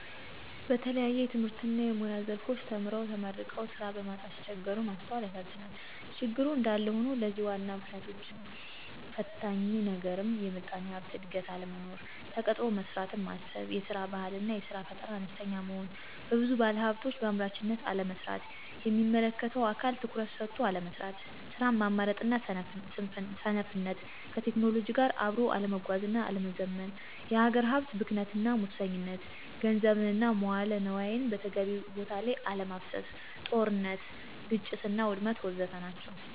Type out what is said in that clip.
በተለያየ የትምህርትና የሙያ ዘርፎች ተምረውና ተመርቀው ስራ በማጣት ሲቸገሩ ማስተዋላል ያሳዝናል። ችግሩ እንዳለ ሆኖ ለዚህ ዋናው ምክንያትና ፈታኙ ነገርም የምጣኔ ሀብት እድገት አለመኖር፣ ተቀጥሮ መስራትን ማሰብ፤ የስራ ባህል አና የስራ ፈጠራ አነስተኛ መሆን፤ ብዙ ባለሀብቶች በአምራችነት አለመሰማራት፤ የሚመለከተው አካል ትኩረት ሰጥቶ አለመስራት፤ ስራን ማምረጥና ሰነፍነት፣ ከቴክኖሎጂ ጋራ አብኖ አለመጓዝና አለመዘመን፤ የሀገር ሀብት ብክነትና ሙሰኝነት፣ ገንዘብን እና መዋለ ነዋይን በተገቢው ቦታ ለይ አለማፍሰስ፤ ጦርነት፥ ግጭትና ውድመት ወዘተ ናቸው።